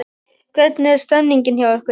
Hvernig er stemmingin hjá ykkur?